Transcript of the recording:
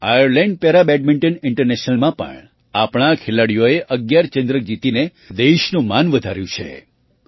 Ireland para badminton ઇન્ટરનેશનલમાં પણ આપણા ખેલાડીઓએ ૧૧ ચંદ્રક જીતીને દેશનું માન વધાર્યું છે